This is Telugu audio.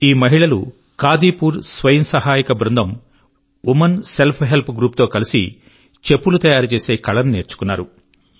ఈ మహిళలు కాదీపూర్ స్వయం సహాయ బృందం వుమెన్ సెల్ఫ్ హెల్ప్ గ్రూప్ తో కలిసి చెప్పులు తయారుచేసే కళను నేర్చుకున్నారు